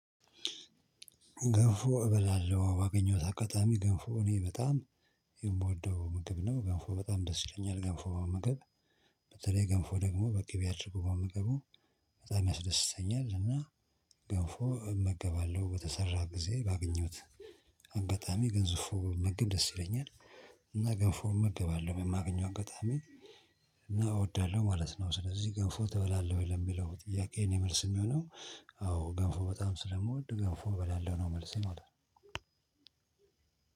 ገንፎ እበላለሁ ባገኘሁት አጋጣሚ ገንፎ እኔ በጣም የምወደው ምግብ ነው። ገንፎ በጣም ደስ ይለኛል ገንፎ መመገብ። በተለይ ገንፎ ደግሞ በቅቤ አድርጎ መመገቡ በጣም ያስደስተኛል። እና ገንፎ እመገባለሁ በተሰራ ጊዜ ባገኘሁት አጋጣሚ ገዝፎ ብመገብ ደስ ይለኛል። እና ገንፎ እመገባለሁ በማገኘው አጋጣሚ እና እወዳለሁ ማለት ነው። ስለዚህ ገፎ ትበላለህ? ለሚው ጥያቄዬ የኔ መልስ የሚሆነው አዎ ገፎ በጣም ስለምወድ ገፎ እበላለሁ ነው። መልሴ ማለት ነው።